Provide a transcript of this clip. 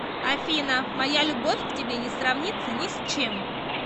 афина моя любовь к тебе не сравнится ни с чем